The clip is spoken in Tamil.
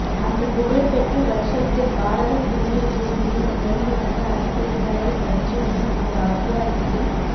அந்தப் புகழ்பெற்ற வருஷத்தில் பாரத புண்ணிய பூமியில் நிகழ்ந்து வந்த அதிசயங்களைப்பற்றி முன் ஓர் அத்தியாயத்தில்